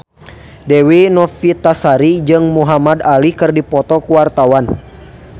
Dewi Novitasari jeung Muhamad Ali keur dipoto ku wartawan